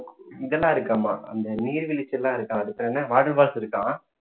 இதெல்லாம் இருக்காமா அந்த நீர்விழ்ச்சியெல்லாம் இருக்காம் அது பேரு என்ன water falls இருக்காம்